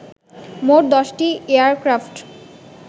মোট ১০টি এয়ারক্রাফট